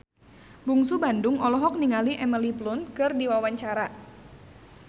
Bungsu Bandung olohok ningali Emily Blunt keur diwawancara